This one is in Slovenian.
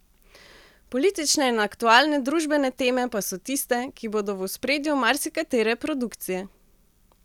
Politične in aktualne družbene teme pa so tiste, ki bodo v ospredju marsikatere produkcije.